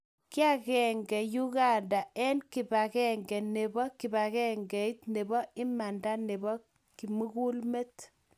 kiagenge Uganda eng kibagenge nebo kibagengeit nebo imanda nebo kimulgmet